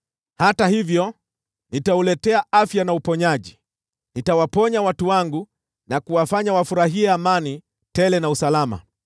“ ‘Hata hivyo, nitauletea afya na uponyaji, nitawaponya watu wangu na kuwafanya wafurahie amani tele na salama.